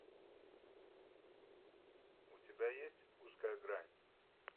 у тебя есть узкая грань